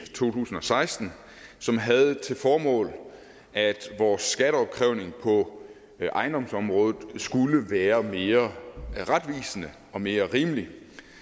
tusind og seksten som havde til formål at vores skatteopkrævning på ejendomsområdet skulle være mere retvisende og mere rimelig